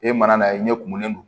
E mana n'a ye ɲɛ kumunen don